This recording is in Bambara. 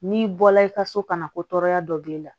N'i bɔla i ka so kana ko tɔɔrɔya dɔ b'i la